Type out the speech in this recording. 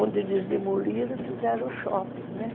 Onde eles demoliram, fizeram o shopping, né?